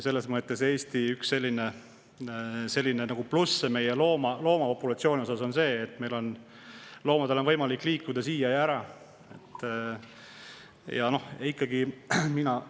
Selles mõttes on Eesti loomapopulatsiooni puhul üks plusse see, et loomadel on võimalik liikuda siia ja siit ära.